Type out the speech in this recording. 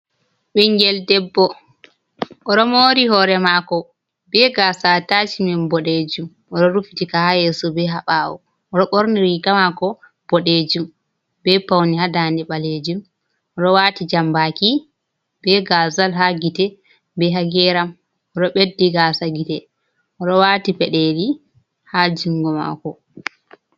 Ɓingel debbo ɗo mori hore mako be gasa atashmen boɗejum, oɗo rufitika ha yeso be ha bawo, oɗo ɓorni riga mako boɗejum be paune ha ndande ɓalejum, oɗo wati jambaki be gazal, ha gite be hageram, oɗo beddi gasa gite, oɗo wati peɗeli ha jungo mako.